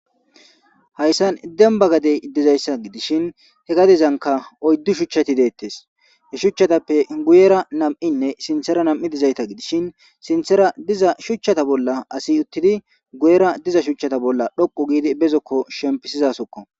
Hayssan demba gadezi dizaysa gidishin he gadezanika oydu shuchati deetees. He shuchchatappe guyera nam'inne sinthera nam'i dizaysa gidishin, sinthera diza shuchchata bolla asi uttidi guyera diza shuchchata bolla dhoqqu giidi asi be zokko shempisizasoko.